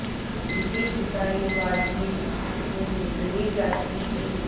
जीतीजितायी बाजी हाथ से निकली जाती थी